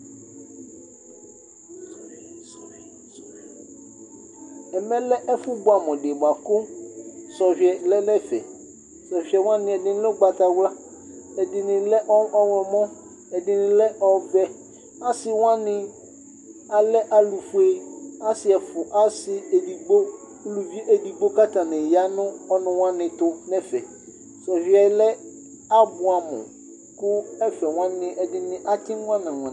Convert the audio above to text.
Ɛmɛlɛ ɛfu bʋamu ɖi bʋakʋ sɔhʋiɛ lɛ nʋ ɛfɛ Sɔhʋiɛ wani Ɛdiní lɛ ʋgbatawla, ɛdiní ɔwlɔmɔ, ɛdiní lɛ ɔvɛ Asi wani alɛ alʋfʋe Asi ɛɖigbo, ʋlʋvi ɛɖigbo kʋ atani ya ŋu ɔnʋ wani tu nʋ ɛfɛ Sɔhʋiɛ lɛ abʋamu kʋ ɛfɛ wani ɛdiní atsi nyana nyan